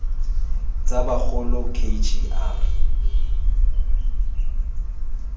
tsa bagolo k g r